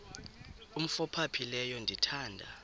umf ophaphileyo ndithanda